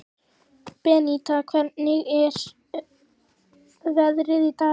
Beníta, hvernig er veðrið í dag?